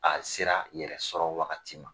A sera yɛrɛ sɔrɔ wagati ma.